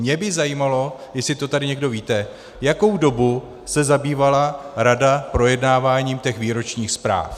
Mě by zajímalo, jestli to tady někdo víte, jakou dobu se zabývala rada projednáváním těch výročních zpráv.